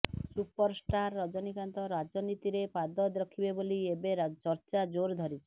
superstar Rajinikanth ରାଜନୀତିରେ ପାଦ ରଖିବେ ବୋଲି ଏବେ ଚର୍ଚ୍ଚା ଜୋର ଧରିଛି